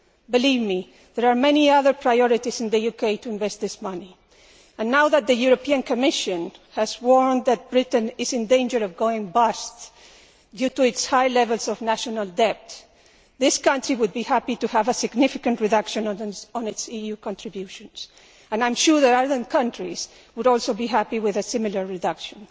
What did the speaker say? Believe me, there are many other priorities in the UK to invest this money in, and now that the European Commission has warned that Britain is in danger of going bust due to its high level of national debt, this country would be happy to have a significant reduction in its EU contributions, and I am sure that other countries would also be happy with a similar reduction.